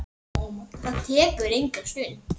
Það tekur enga stund.